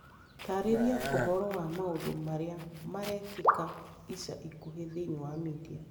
Taarĩria ũhoro wa maũndũ marĩa marekĩka ica ikuhĩ thĩinĩ wa media